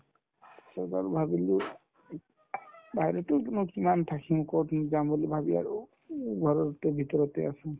পিছত আৰু ভাবিলো বাহিৰতে তোমাৰ কিমান থাকিম ক'ত যাম বুলি ভাবি আৰু উম ঘৰতে ভিতৰতে আছো